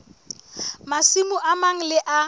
masimo a mang le a